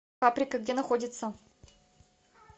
паприка где находится